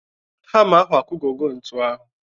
Hama ahụ akugọgo ntu ahụ.